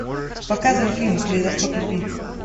показывай фильм калейдоскоп любви